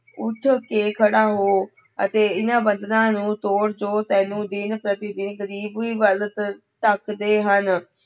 ਉੱਠ ਕੇ ਖੜਾ ਹੋ ਅਤੇ ਇਹਨਾਂ ਬੰਧਨਾਂ ਨੂੰ ਤੋੜ ਜੋ ਤੈਨੂੰ ਦਿਨ ਪ੍ਰਤੀ ਦਿਨ ਗ਼ਰੀਬੀ ਵੱਲ ਧ ਧੱਕਦੇ ਹਨ।